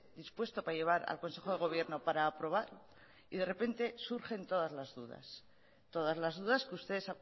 dispuesto para llevar al consejo de gobierno para aprobar y de repente surgen todas las dudas todas las dudas que ustedes